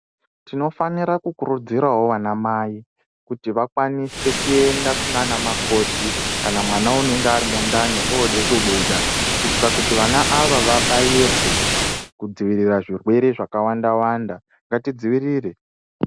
Tinofanira kukurudzirawo anamai kuti vakwanise kuenda kunaanamukoti kana mwana unenge ari mundani ooda kubuda kuitire kuti vana ava vabairwe kudzivirira zvirwere zvakawanda wanda. Ngatidzivirire.